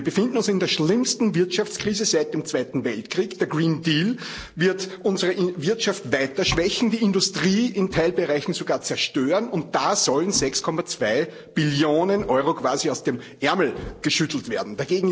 Wir befinden uns in der schlimmsten Wirtschaftskrise seit dem Zweiten Weltkrieg. Der Green Deal wird unsere Wirtschaft weiter schwächen, die Industrie in Teilbereichen sogar zerstören und da sollen 6,2 Billionen Euro quasi aus dem Ärmel geschüttelt werden!